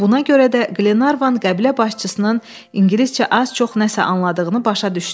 Buna görə də Qlenarvan qəbilə başçısının ingiliscə az-çox nəsə anladığını başa düşdü.